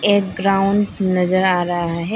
एक ग्राउंड नजर आ रहा है।